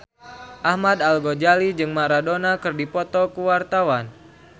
Ahmad Al-Ghazali jeung Maradona keur dipoto ku wartawan